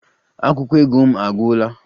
Akwụkwọ ego m agwụla